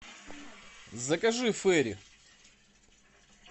закажи фейри